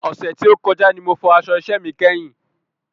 Ọ̀sẹ̀ tí ó kọjá ní mo fọ aṣọ iṣẹ mi kẹ́yìn